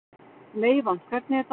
Meyvant, hvernig er dagskráin?